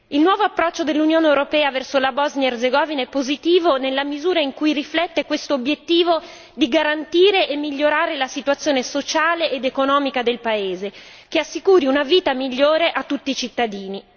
Il nuovo approccio dell'Unione europea verso la Bosnia Erzegovina è positivo nella misura in cui riflette questo obiettivo di garantire e migliorare la situazione sociale ed economica del paese che assicuri una vita migliore a tutti i cittadini.